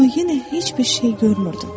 Amma yenə heç bir şey görmürdüm.